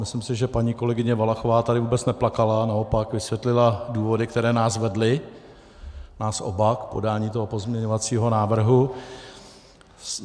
Myslím si, že paní kolegyně Valachová tady vůbec neplakala, naopak vysvětlila důvody, které nás vedly, nás oba, k podání toho pozměňovacího návrhu.